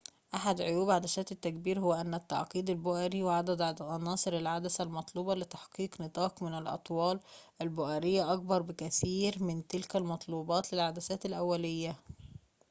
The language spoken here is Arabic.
أحد عيوب عدسات التكبير هو أن التعقيد البؤري وعدد عناصر العدسة المطلوبة لتحقيق نطاق من الأطوال البؤرية أكبر بكثير من تلك المطلوبة للعدسات الأولية